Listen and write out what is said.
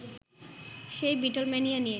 সেই বিটলম্যানিয়া নিয়ে